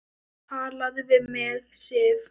TALAÐU VIÐ MIG, SIF!